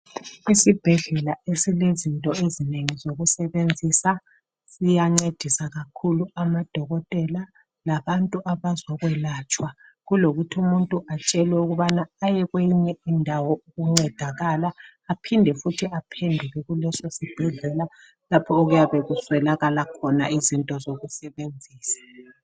Isibhedlela esilezinto ezinengi zokusebenzisa siyancedisa kakhulu amadokotela labantu abazokwelatshwa kulokuthi umuntu atshelwe ukubana aye kweyinye indawo yokuncedakala aphinde futhi aphenduke kuleso sibhedlela lapho okuyabe kuswelakala khona izinto zokusebenzisa.